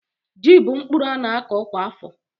Ji bú mkpụrụ a na-akọ kwa afọ